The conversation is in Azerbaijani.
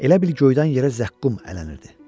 Elə bil göydən yerə zəqqum ələnirdi.